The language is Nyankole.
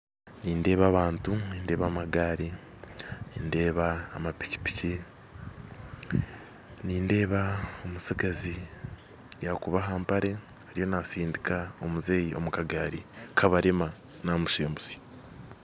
Nindeeba abantu nindeeba amagari nindeeba amapikipiki nindeeba omutsigazi yakuba ahampare ariyo nasindika omuzeeyi omukagaari kabarema namusembutsa